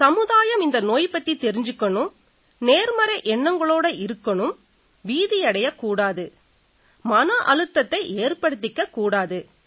சமுதாயம் இந்த நோய் பத்தி தெரிஞ்சுக்கணும் நேர்மறை எண்ணங்களோட இருக்கணும் பீதியடையக் கூடாது மன அழுத்தத்தை ஏற்படுத்திக்கக் கூடாது